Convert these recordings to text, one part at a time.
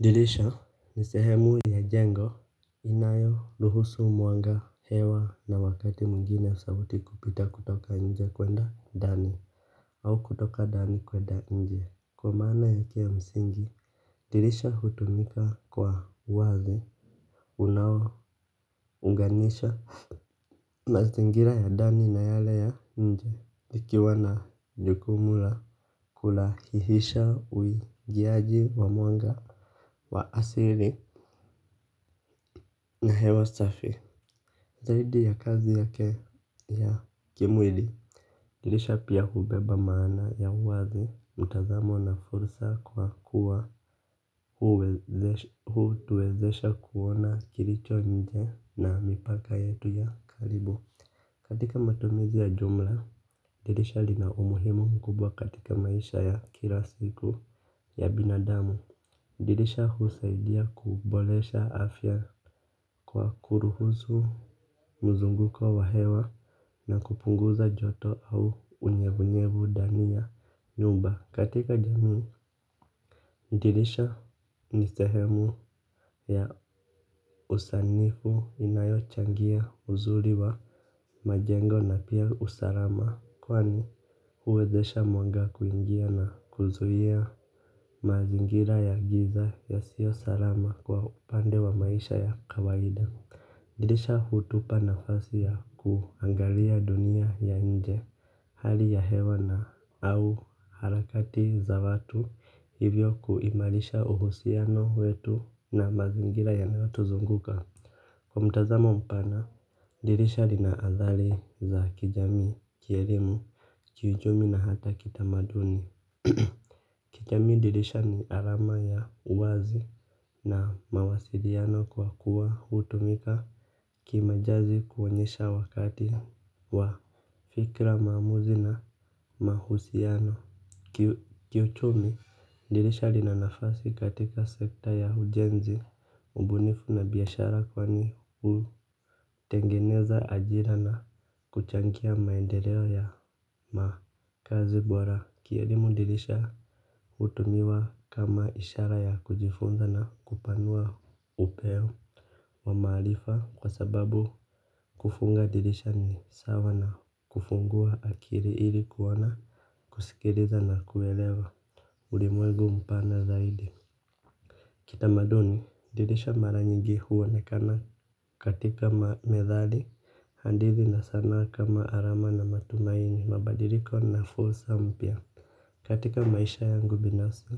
Dirisha ni sehemu ya jengo. Inayo ruhusu mwanga hewa na wakati mwigine sauti kupita kutoka nje kwenda ndani au kutoka ndani kwenda nje. Kwa maana yake ya msingi dirisha hutumika kwa uazi. Unao unganisha mazingira ya ndani na yale ya nje ikiwa na jukumu la kulahihisha uingiaji wa mwanga wa asili na hewa safi, zaidi ya kazi yake ya kimwili dirisha pia hubeba maana ya uwazi, mtazamo na fursa kwa kuwa hutuwezesha kuona kilicho nje na mipaka yetu ya karibu. Katika matumizi ya jumla, dirisha lina umuhimu mkubwa katika maisha ya kila siku ya binadamu dirisha husaidia kuboresha afya kwa kuruhusu mzunguko wa hewa na kupunguza joto au unyevu nyevu ndani ya nyumba katika jamii dirisha ni sehemu ua usanifu inayo changia uzuri wa majengo na pia usalama kwani huwezesha mwanga kuingia na kuzuia mazingira ya giza yasiyo salama kwa upande wa maisha ya kawaida. Dirisha hutupa nafasi ya kuangalia dunia ya nje. Hali ya hewa na au harakati za watu hivyo kuimariha uhusiano wetu na mazingira yanayo tuzunguka. Kwa mtazamo mpana dirisha lina athari za kijamii kielimu kiuchumi na hata kitamaduni. Kijamii dirisha ni alama ya uwazi na mawasiliano kwa kuwa hutumika kima jazi kuonyesha wakati wa fikra maamuzi na mahusiano. Kiuchumi dirisha lina nafasi katika sekta ya ujenzi. Ubunifu na biashara kwani hutengeneza ajira na kuchangia maendeleo ya makazi bora. Kielimu dirisha hutumiwa kama ishara ya kujifunza na kupanua upeo wamaarifa kwa sababu kufunga dirisha ni sawa na kufungua akili ili kuwa na kusikiliza na kuelewa ulimwengu mpana zaidi. Kitamaduni dirisha mara nyingi huonekana katika ma methali hadithi na sanaa kama alama na matumaini. Mabadiliko na fursa mpya. Katika maisha yangu binafsi,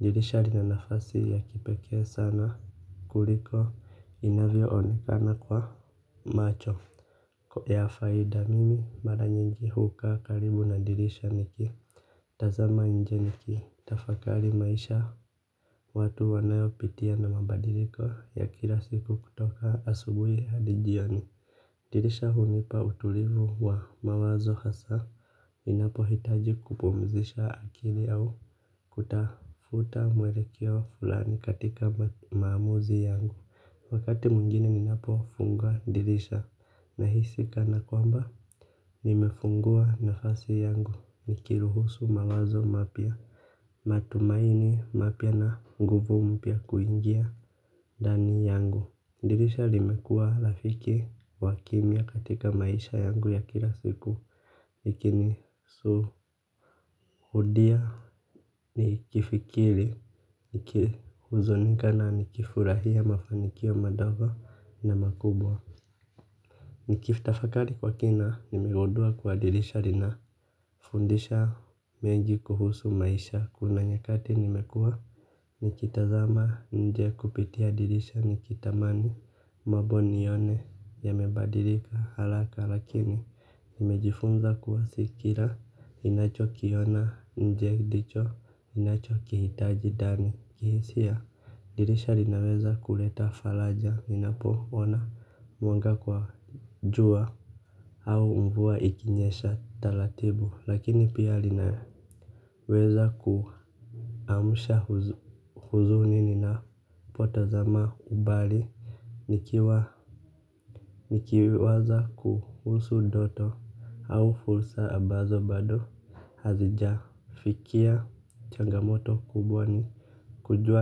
dirisha lina nafasi ya kipeke sana kuliko inavyo onekana kwa macho ya faida mimi mara nyingi hukaa karibu na dirisha niki tazama nje niki, tafakari maisha watu wanayo pitia na mabadiliko ya kila siku kutoka asubuhi hadi jioni. Dirisha hunipa utulivu wa mawazo hasa. Ninapo hitaji kupumzisha akili au kutafuta mwelekeo fulani katika maamuzi yangu. Wakati mwingine ninapo funga dirisha. Nahisi kana kwamba, nimefungua nafasi yangu nikiruhusu mawazo mapya. Matumaini mapya na nguvu mpya kuingia ndani yangu. Dirisha limekua rafiki wakimia katika maisha yangu ya kila siku nikini shuhudia nikifikiri niki huzunika na nikifurahia mafanikio madogo na makubwa. Niki tafakari kwa kina nimegundua kuwa dirisha lina fundisha mengi kuhusu maisha kuna nyakati nimekua nikitazama nje kupitia dirisha nikitamani mambo nione yamebadilika haraka lakini nimejifunza kuwa si kila inacho kiona nje ndicho ninacho kihitaji ndani. Kihisia dirisha linaweza kuleta faraja ninapo ona mwanga kwa jua au mvua ikinyesha taratibu lakini pia linaweza kuamsha huzuni ninapotazama umbali nikiwa nikiwaza kuhusu ndoto au fursa ambazo bado hazija fikia changa moto kubwa ni kujua.